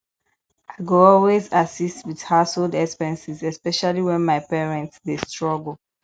i go always assist with household expenses especially when my parents dey struggle